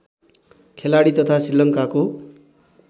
खेलाडी तथा श्रीलङ्काको